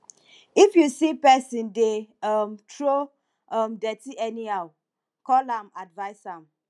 if you see pesin dey um throw um dirty anyhow call am advise am